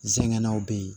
Nsɛgɛnnaw bɛ yen